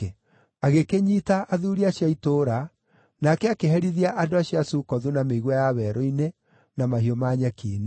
Agĩkĩnyiita athuuri acio a itũũra, nake akĩherithia andũ acio a Sukothu na mĩigua ya werũ-inĩ, na mahiũ ma nyeki-inĩ.